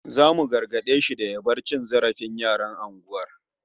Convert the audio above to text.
Zasu gargade shi da ya bar cin zarafin yaran unguwar